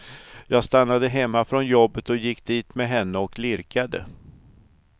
Jag stannade hemma från jobbet och gick dit med henne och lirkade.